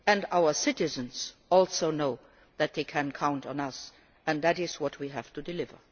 Our citizens also know that they can count on us, and that is what we have to deliver.